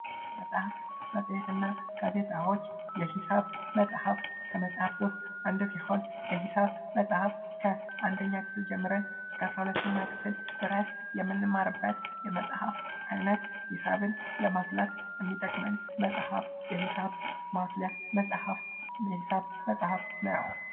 መፅሐፍ መፄት እና ጋዜጣዎች፦ የሒሳብ መፅሐፍ ከመፃፍ ውስጥ አንዱ ሲሆን የሒሳብ መፅሐፍ ከአንደኛ ክፍል ጀምረን እስከ አስራ ሁለተኛ ክፍል ድረስ የምንማርበት የመፅሐፍ አይነት ሒሳብን ለማስላት የሚጠቅም መፅሐፍ የሒሳብ ማስያ መፅሐፍ የሒሳብ መፅሐፍ ነው።